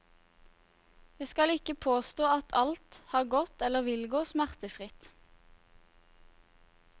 Jeg skal ikke påstå at alt har gått eller vil gå smertefritt.